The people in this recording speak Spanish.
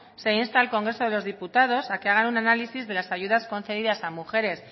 se insta al congreso de los diputados a que hagan un análisis de las ayudas concedidas a mujeres